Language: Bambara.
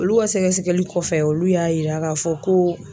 Olu ka sɛgɛsɛli kɔfɛ olu y'a yira k'a fɔ ko